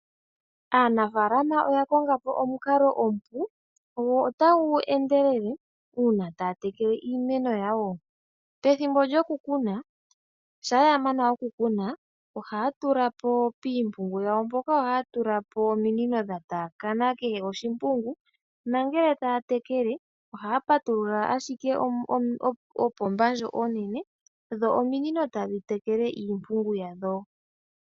Aanafaalama oya konga po omukalo omupu go otagu endelele uuna taya tekele iimeno yawo. Pethimbo lyokukuna shampa ya mana okukuna piimpungu yawo mpoka oha ya tula ominino dha tapakana kehe oshimpungu nongele taya tekele oha ya patulula ashike opomba ndjo onene dho ominino tadhi tekele iimpungu yadho.